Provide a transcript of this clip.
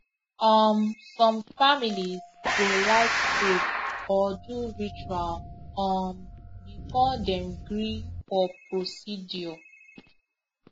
um some families go like pray or do ritual um before dem gree for procedure